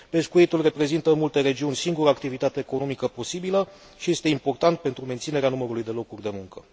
Pescuitul reprezintă în multe regiuni singura activitate economică posibilă și este important pentru menținerea numărului de locuri de muncă.